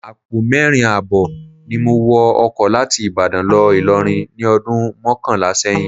Àpò mẹ́rin ààbọ̀ ni mo wọ ọkọ láti Ìbàdàn lọ Ìlọrin ní ọdún mọ́kànlá sẹ́yìn